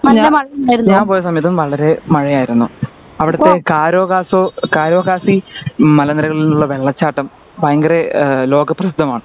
ഞാ ഞാൻ പോയ സമയത്ത് വളരേ മഴയായിരുന്നു അവിടുത്തെ കാരോ കാസോ കരോ കാസി മല നിരകളിൽ നിന്നുള്ള വെള്ളച്ചാട്ടം ഭയങ്കര ഏഹ് ലോകപ്രശസ്തമാണ്